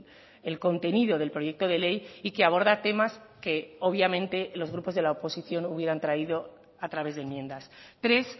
el contenido del proyecto de ley y que aborda temas que obviamente los grupos de la oposición hubieran traído a través de enmiendas tres